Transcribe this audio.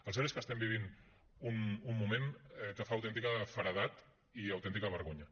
el cert és que vivim un moment que fa autèntica feredat i autèntica vergonya